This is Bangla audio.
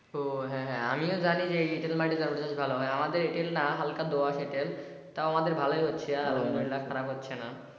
তো হ্যাঁ হ্যাঁ আমিও জানি যে এঁটেল মাটিতে ভালো চাষ হয় আমাদের এঁটেল না হাল্কা দোআঁশ এঁটেল তাও আমাদের ভালোই হচ্ছে আলহামদুলিল্লা খারাপ হচ্ছে না।